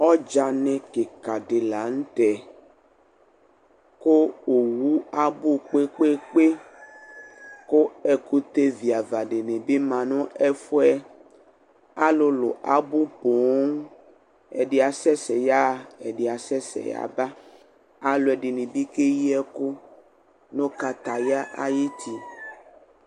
Ɔdzanɩ kɩkadɩ la n'tɛ kʋ owu abʋ kpekpekpe kʋ ɛkʋtɛviavadɩ bi ma nʋ ɛfʋ yɛ Alʋlʋ abʋ pooo, ɛdɩ asɛsɛ yaɣa ɛdɩ asɛsɛ yaba Alʋɛdɩnɩ bɩ keyi ɛkʋ nʋ kataya ay'uti